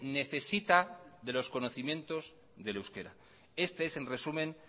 necesita de los conocimientos del euskera este es en resumen